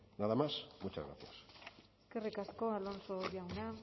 nada más muchas gracias eskerrik asko alonso jauna